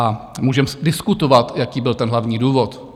A můžeme diskutovat, jaký byl ten hlavní důvod.